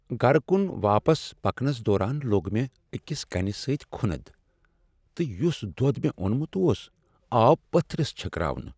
گرٕكُن واپس پکنس دوران لوگ مےٚ أكِس كَنہِ سٕتۍ کھُند ، تہٕ یُس دۄد مےٚ اونمُت اوس آو پتھرِس چھكراونہٕ ۔